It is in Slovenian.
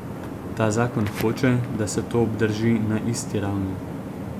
Ta zakon hoče, da se to obdrži na isti ravni.